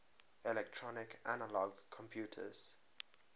electronic analog computers